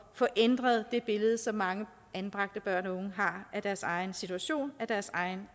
få ændret det billede som mange anbragte børn og unge har af deres egen situation af deres egen